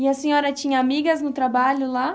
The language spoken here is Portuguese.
E a senhora tinha amigas no trabalho lá?